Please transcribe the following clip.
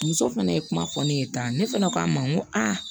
Muso fana ye kuma fɔ ne ye tan ne fana ko a ma n ko a